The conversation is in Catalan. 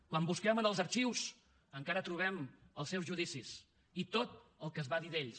quan busquem en els arxius encara trobem els seus judicis i tot el que es va dir d’ells